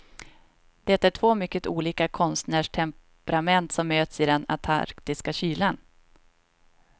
Det är två mycket olika konstnärstemperament som möts i den antarktiska kylan.